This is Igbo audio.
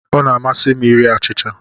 Ọ na-amasị m iri achịcha.